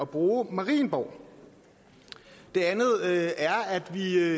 bruge marienborg det andet er at vi